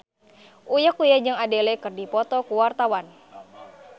Uya Kuya jeung Adele keur dipoto ku wartawan